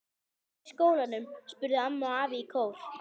Hvernig var í skólanum? spurðu amma og afi í kór.